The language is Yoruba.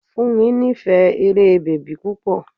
Fúnmi nífẹ̀ẹ́ eré bèbí púpọ̀.